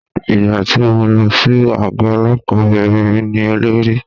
Ìgbà tí mo lọ sí àgọ́ ọlọ́pàá obìnrin ni olórí wọn.